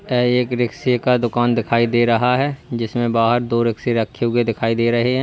ऐ एक रिक्शे का दुकान दिखाई दे रहा है जिसमें बाहर दो रिक्शें रखे हुए दिखाई दे रहे हैं।